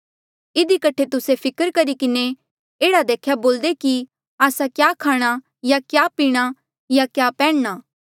इधी कठे तुस्से फिकर करी किन्हें एह्ड़ा देख्या बोल्दे कि आस्सा क्या खाणा या क्या पीणा या क्या पैन्ह्णा